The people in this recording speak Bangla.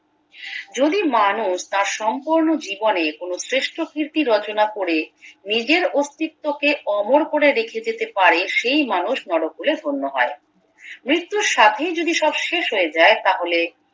যদি মানুষ তার সম্পূর্ণ জীবনে কোনো শ্রেষ্ঠ কৃর্তি রচনা করে নিজের অস্তিত্বকে অমর করে রেখে যেতে পারে সেই মানুষ নরকুলে ধন্য হয় মৃত্যুর সাথেই যদি সব শেষ হয়ে যায় তাহলে